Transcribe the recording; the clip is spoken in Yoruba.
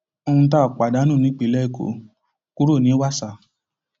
ohun tá a pàdánù nípínlẹ èkó kúrò ní wàsà